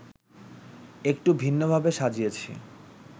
একটু ভিন্নভাবে সাজিয়েছি